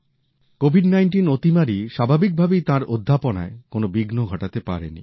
Covid ১৯ অতিমারি স্বাভাবিক ভাবেই তাঁর অধ্যাপনায় কোনো বিঘ্ন ঘটাতে পারেনি